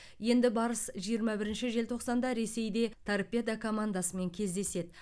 енді барыс жиырма бірінші желтоқсанда ресейде торпедо командасымен кездеседі